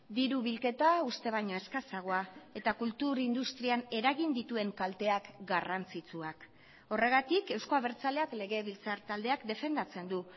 diru bilketa uste baino eskasagoa eta kultur industrian eragin dituen kalteak garrantzitsuak horregatik euzko abertzaleak legebiltzar taldeak defendatzen du